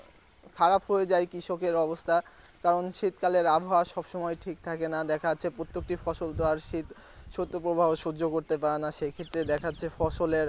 খারাপ হয়ে যায় কৃষকের অবস্থা কারণ শীতকালের আবহাওয়া সব সময় ঠিক থাকে না দেখা যাচ্ছে প্রত্যেকটি ফসল তো আর শীত সূর্য প্রবাহ সহ্য করতে পারেনা সে ক্ষেত্রে দেখা যাচ্ছে ফসলের